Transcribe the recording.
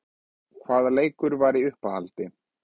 Hvaða leikur var í uppáhaldi?